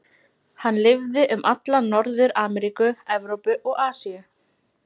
Hann lifði um alla Norður-Ameríku, Evrópu og Asíu.